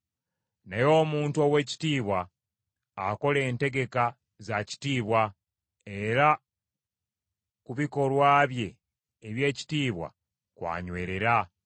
Naye omuntu ow’ekitiibwa akola entegeka za kitiibwa, era ku bikolwa bye eby’ekitiibwa kw’anywerera.